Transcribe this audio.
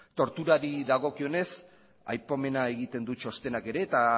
torturari dagokionez aipamena egiten du txostenak ere eta